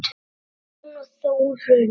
Heiðrún og Þórunn.